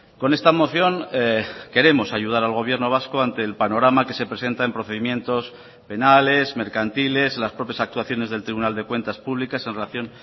con esta moción queremos ayudar al gobierno vasco ante el panorama que se presenta en procedimientos penales mercantiles las propias actuaciones del tribunal de cuentas públicas en relación